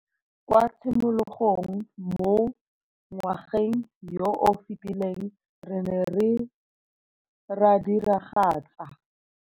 Kwa tshimologong mo ngwageng yo o fetileng re ne ra diragatsa.